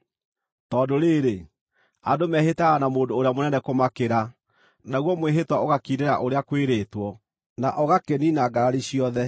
Tondũ rĩĩrĩ, andũ mehĩtaga na mũndũ ũrĩa mũnene kũmakĩra, naguo mwĩhĩtwa ũgakindĩra ũrĩa kwĩrĩtwo, na ũgakĩniina ngarari ciothe.